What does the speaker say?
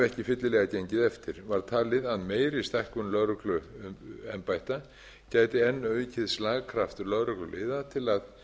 ekki fyllilega gengið eftir var talið að meiri stækkun lögregluembætta gæti enn aukið slagkraft lögregluliða til að